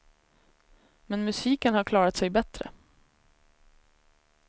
Men musiken har klarat sig bättre.